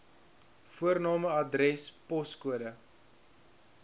voorname adres poskode